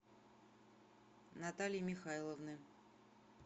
наталии михайловны